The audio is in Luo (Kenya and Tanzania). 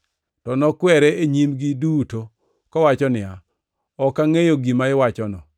To nokwere e nyimgi duto, kowacho niya, “Ok angʼeyo gima iwachono.”